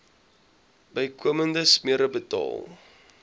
bykomende smere betaal